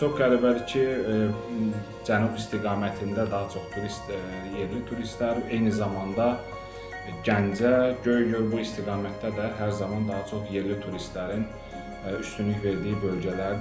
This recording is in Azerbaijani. Və çox qəribədir ki, cənub istiqamətində daha çox turist yerli turistlər, eyni zamanda Gəncə, Göygöl bu istiqamətdə də hər zaman daha çox yerli turistlərin üstünlük verdiyi bölgələrdir.